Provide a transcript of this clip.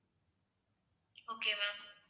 okay ma'am